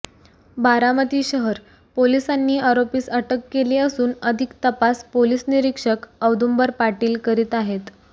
बारामती शहर पोलिसांनी अरोपीस अटक केली असून अधिक तपास पोलीस निरीक्षक औदुंबर पाटील करीत आहेत